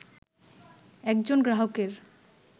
একজন গ্রাহকের